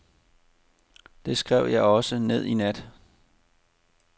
Det skrev jeg også ned i nat.